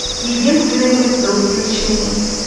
единственный выстрел включи мне